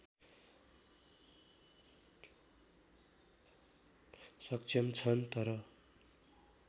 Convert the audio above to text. सक्षम छन् तर